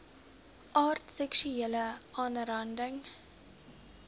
aard seksuele aanranding